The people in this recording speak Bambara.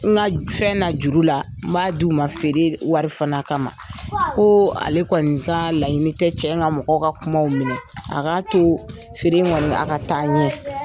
N ka fɛn na juru la, n b'a di u ma fere, wari fana kama. Ko ale kɔni ka laɲini tɛ cɛ in ka mɔgɔ ka kumaw minɛ, a k'a to fere kɔni, a ka taa ɲɛ.